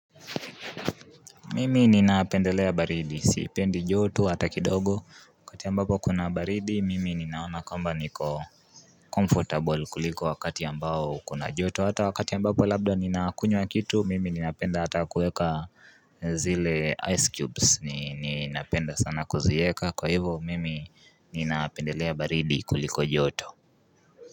Mimi ninaapendelea baridi, sipendi jotu hata kidogo, wakati ambapo kuna baridi, mimi ninaona kwamba niko comfortable kuliko wakati ambao kuna jotu, hata wakati ambapo labda ninakunywa kitu, mimi ninapenda hata kueka zile ice cubes, ninapenda sana kuzieka, kwa hivo mimi ninaapendelea baridi kuliko jotu.